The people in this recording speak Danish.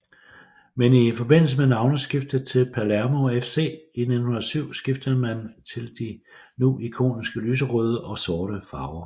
Men i forbindelse med navneskiftet til Palermo FC i 1907 skiftede man til de nu ikoniske lyserøde og sorte farver